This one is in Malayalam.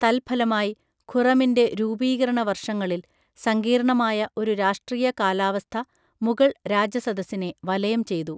തൽഫലമായി, ഖുറമിൻ്റെ രൂപീകരണ വർഷങ്ങളിൽ സങ്കീർണ്ണമായ ഒരു രാഷ്ട്രീയ കാലാവസ്ഥ മുഗൾ രാജസദസ്സിനെ വലയം ചെയ്തു.